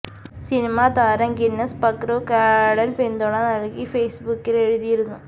cinema താരം Guinness Pakru ക്വാഡന് പിന്തുണ നല്കി ഫേസ്ബുക്കില് എഴുതിയിരുന്നു